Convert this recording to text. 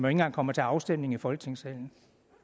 engang kommer til afstemning i folketingssalen